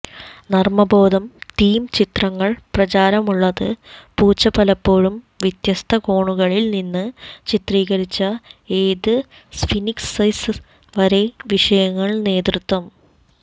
നർമ്മബോധം theme ചിത്രങ്ങൾ പ്രചാരമുള്ളത് പൂച്ച പലപ്പോഴും വ്യത്യസ്ത കോണുകളിൽ നിന്ന് ചിത്രീകരിച്ച ഏത് സ്ഫിന്ക്സെസ് വരെ വിഷയങ്ങൾ നേതൃത്വം